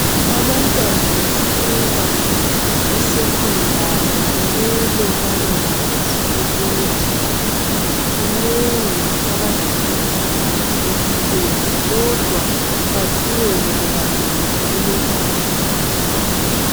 abantwana besuka e secondary kumele babekwazi ukuthi kunengi abazahlangana lakho empilweni kodwa bequbeke bebambelele kulokhu abakufundiswayo